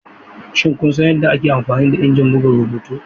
Shin kun san yadda ake amfani da injin buga rubutu?